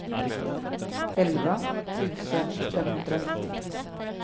elva tusen femhundranittio